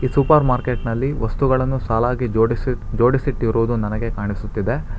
ಈ ಸೂಪರ್ ಮಾರ್ಕೆಟ್ನಲ್ಲಿ ವಸ್ತುಗಳನ್ನು ಸಾಲಾಗಿ ಜೋಡಿಸಿಟ್ ಜೋಡಿಸಿಟ್ಟಿರುವುದು ನನಗೆ ಕಾಣಿಸುತ್ತಿದೆ.